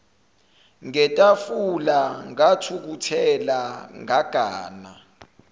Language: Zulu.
ngetafula ngathukuthela ngagana